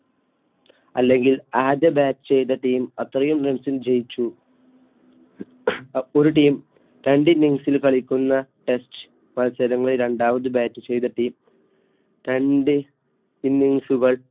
അല്ലെങ്കിൽ ആദ്യം Batch ചെയ്ത Team അത്രയും Runs ജയിച്ചുഅപ്പൊ ഒരു Team രണ്ടിന്നിങ്സിലു കളിക്കുന്ന Test മത്സരങ്ങളിൽ രണ്ടാമത് Bat ചെയ്ത Team രണ്ട് Innings